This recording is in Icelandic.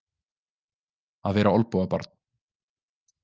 Að vera olnbogabarn